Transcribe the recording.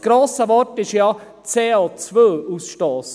Das grosse Wort ist ja CO-Ausstoss.